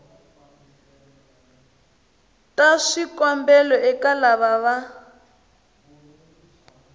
ta swikombelo eka lava va